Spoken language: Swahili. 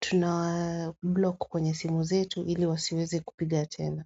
tunawa block kwenye simu zetu ili wasiweze kupiga tena.